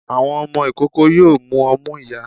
Àwọn ọmọ ikoko yoo mù omú iyá